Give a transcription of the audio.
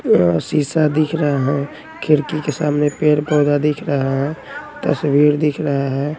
यह शीशा दिख रहा हैं खिड़की के सामने पेड़ पौधा दिख रहा हैं तस्वीर दिख रहा हैं।